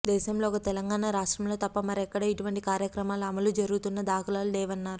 దేశంలో ఒక తెలంగాణ రాష్ట్రంలో తప్ప మరెక్కడ ఇటువంటి కార్యక్రమాలు అమలు జరుగుతున్న దాఖలాలు లేవన్నారు